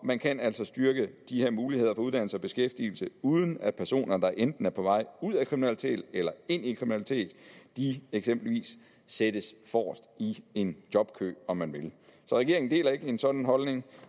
man kan altså styrke de her muligheder for uddannelse og beskæftigelse uden at personer der enten er på vej ud af kriminalitet eller ind i kriminalitet eksempelvis sættes forrest i en jobkø om man vil så regeringen deler ikke en sådan holdning